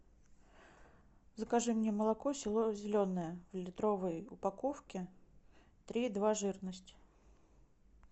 закажи мне молоко село зеленое в литровой упаковке три и два жирность